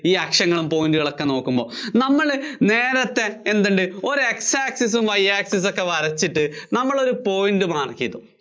ഈ അക്ഷങ്ങളും point കളും ഒക്കെ നോക്കുമ്പോ നമ്മള് നേരത്തെ എന്തുണ്ട് ഒരു X access ഉം Y access ഉം ഒക്കെ വരച്ചിട്ട് നമ്മളൊരു point mark ചെയ്തു